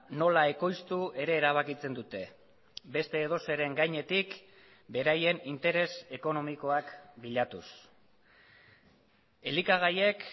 nola ekoiztu ere erabakitzen dute beste edozeren gainetik beraien interes ekonomikoak bilatuz elikagaiek